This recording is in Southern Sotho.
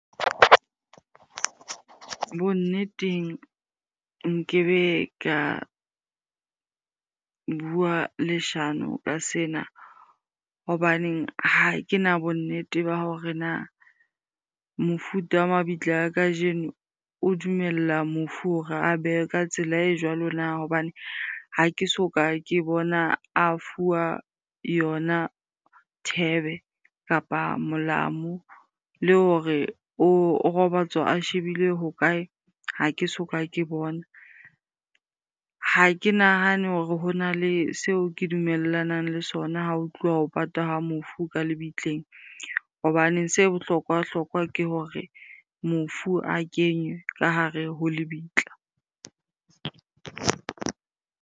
Bonneteng nkebe ka bua leshano ka sena. Hobaneng ha ke na bonnete ba hore na mofuta wa mabitla a kajeno o dumella mofu hore a ka tsela e jwalo na? Hobane ha ke soka ke bona a fuwa yona thebe, kapa molamu le hore o robatswa a shebile ho kae? ha ke soka ke bona. Ha ke nahane hore ho na le seo ke dumellanang le sona ha ho tluwa ho patwa ha mofu ka lebitleng. Hobane se bohlokwa-hlokwa ke hore mofu a kenywe ka hare ho lebitla.